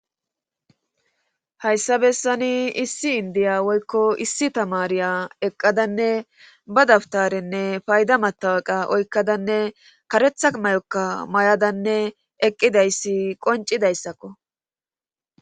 Hayyssa bessani issi inddiya woyko issi tamaariya eqqadanne ba dabttarenne payda matawqa oykkadanne karetha mayokka mayadanee eqqidayssi qonccidayssakko.